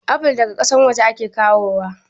Afol daga kasan waje ake kawo wa